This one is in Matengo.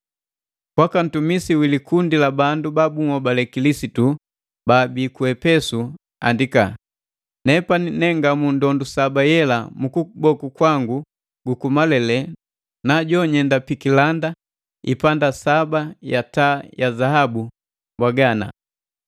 “Kwaka Ntumisi wi likundi la bandu ba bunhobale Kilisitu baabi ku Epesu andika.” “Nepani ne ngamu ndondu saba yela mu kuboku kwangu guku malele na jonyenda pikilanda ipanda saba ya taa ya zaabu, mbwaga ana: